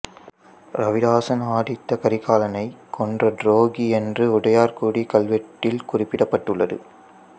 ரவிதாசன் ஆதித்த கரிகாலனைக் கொன்ற துரோகி என்று உடையார்குடிக் கல்வெட்டில் குறிப்பிடப்பட்டுள்ளது